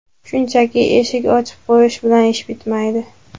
Shunchaki eshik ochib qo‘yish bilan ish bitmaydi.